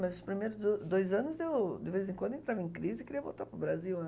Mas os primeiros do dois anos, eu de vez em quando, eu entrava em crise e queria voltar para o Brasil, né.